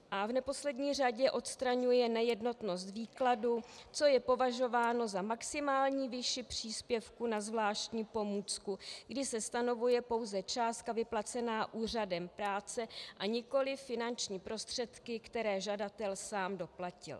A v neposlední řadě odstraňuje nejednotnost výkladu, co je považováno za maximální výši příspěvku na zvláštní pomůcku, kdy se stanovuje pouze částka vyplacená úřadem práce a nikoliv finanční prostředky, které žadatel sám doplatil.